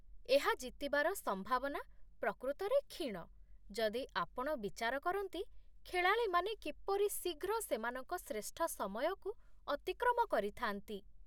ଏହା ଜିତିବାର ସମ୍ଭାବନା ପ୍ରକୃତରେ କ୍ଷୀଣ ଯଦି ଆପଣ ବିଚାର କରନ୍ତି ଖେଳାଳିମାନେ କିପରି ଶୀଘ୍ର ସେମାନଙ୍କ ଶ୍ରେଷ୍ଠ ସମୟକୁ ଅତିକ୍ରମ କରିଥା'ନ୍ତି।